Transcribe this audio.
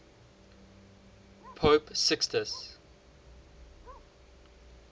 pope sixtus